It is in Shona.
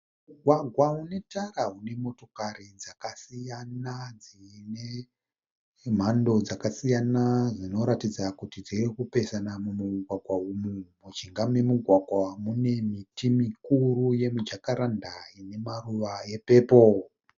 Mugwagwa unetara unemotokari dzakasiyana dzinenhando dzakasiyana dzinoratidza kuti dzirikupesana mumugwagwa umu. Mujinga memugwagwa umu mune miti mukuru yemijakaranda inemaruva epepoo.